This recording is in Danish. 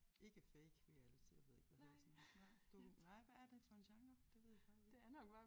Ikke fake reality jeg ved ikke hvad hedder sådan noget nej nej hvad er det for en genre? Det ved jeg faktisk ikke